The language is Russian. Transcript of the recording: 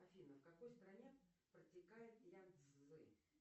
афина в какой стране протекает янцзы